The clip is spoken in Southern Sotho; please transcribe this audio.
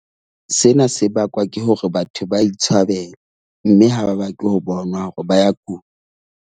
Sena se bakwa ke hore batho ba itshwabela mme ha ba batle ho bonwa hore ba ya kula.